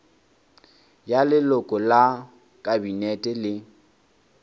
ya leloko la kabinete le